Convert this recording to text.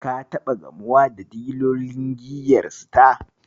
Ka taɓa gamuwa da dilolin giyar Star?